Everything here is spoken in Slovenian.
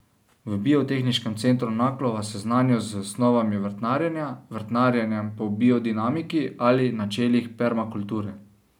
V Biotehniškem centru Naklo vas seznanijo z osnovami vrtnarjenja, vrtnarjenjem po biodinamiki ali načelih permakulture.